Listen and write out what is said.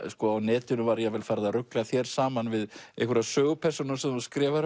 á netinu var farið að rugla þér saman við einhverja sögupersónu sem þú skrifar